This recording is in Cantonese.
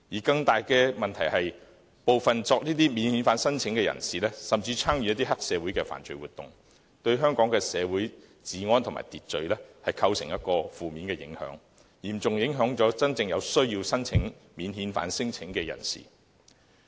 更大的問題是，部分免遣返聲請人士甚至參與黑社會的犯罪活動，對香港社會的治安和秩序構成負面影響，亦嚴重影響真正有需要申請免遣返聲請的人士。